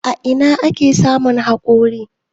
A ina ake samun hakori.?